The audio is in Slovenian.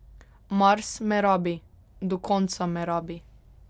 Mars me rabi, do konca me rabi.